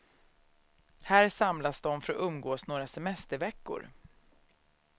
Här samlas de för att umgås några semesterveckor.